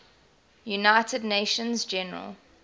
united nations general